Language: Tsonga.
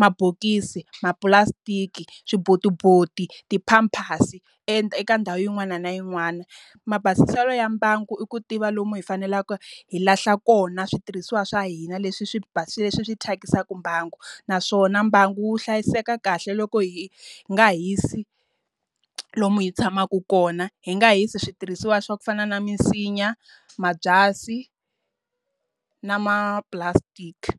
mabokisi, mapulasitiki, swibotiboti, ti-pampers eka ndhawu yin'wana na yin'wana. Mabasiselo ya mbangu i ku tiva lomu hi faneleke hi lahla kona switirhisiwa swa hina leswi swi leswi swi thyakisaka mbangu. Naswona mbangu wu hlayiseka kahle loko hi nga hisi lomu hi tshamaku kona. Hi nga hisi switirhisiwa swa ku fana na misinya, mabyasi na mapulasitiki.